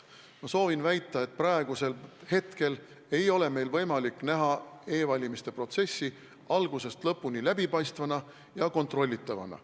Ma soovin väita, et praegu ei ole meil võimalik näha e-valimiste protsessi algusest lõpuni läbipaistva ja kontrollitavana.